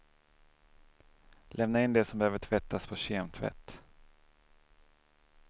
Lämna in det som behöver tvättas på kemtvätt.